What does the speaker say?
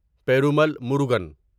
Perumal Murugan